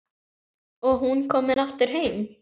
Og hún komin aftur heim.